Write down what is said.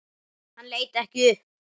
Hann leit ekki upp.